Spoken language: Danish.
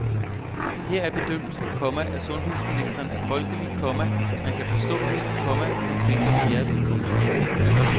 Her er bedømmelsen, komma at sundhedsministeren er folkelig, komma man kan forstå hende, komma hun tænker med hjertet. punktum